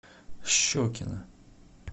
щекино